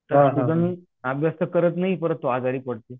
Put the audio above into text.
अभ्यास तर करत नाही करत तो आजारी पडतो.